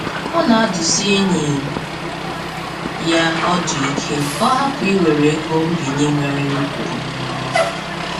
Ọ na-adụsị enyi ya ọdụ ike ka ọ hapụ iwere ego nbinye nwere nnukwu ọmụrụnwa